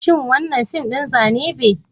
Shin wannan fim din Zane be?